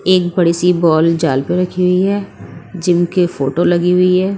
एक बड़ी सी बॉल जाल पर रखी हुई है जिम के फोटो लगी हुई है।